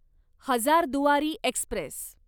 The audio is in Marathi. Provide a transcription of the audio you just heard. हजारदुआरी एक्स्प्रेस